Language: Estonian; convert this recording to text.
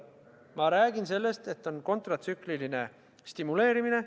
Ma räägin sellest, et on kontratsükliline stimuleerimine.